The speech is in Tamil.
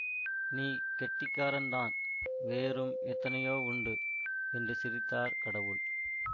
நீ கெட்டிக்காரன் தான் வேறும் எத்தனையோ உண்டு என்று சிரித்தார் கடவுள்